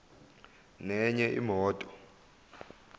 nenye imoto